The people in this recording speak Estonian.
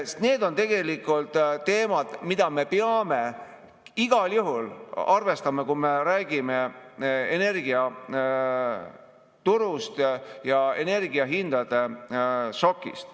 Need on tegelikult teemad, mida me peame igal juhul arvestama, kui me räägime energiaturust ja energiahindade šokist.